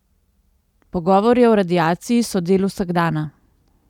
Pogovori o radiaciji so del vsakdana.